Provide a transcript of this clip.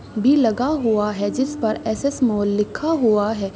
भी लगा हुआ है। जिस पर एस.एस मॉल लिखा हुआ है।